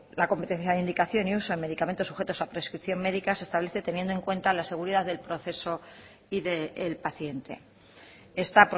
la competencia de indicación y uso en medicamentos sujetos a prescripción médica se establece teniendo en cuenta la seguridad del proceso y del paciente está